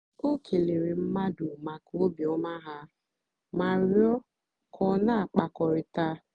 o kèlèèrè mmadụ́ maka óbìọ́mà ha mà rịọ́ kà ọ na-àkpákọ̀rị̀ta.